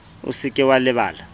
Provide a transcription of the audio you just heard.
o se ke wa lebala